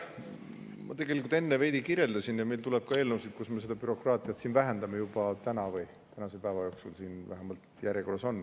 Ma tegelikult enne veidi kirjeldasin ja meil tuleb ka eelnõusid, millega me seda bürokraatiat vähendame, täna või tänase päeva jooksul need siin vähemalt järjekorras on.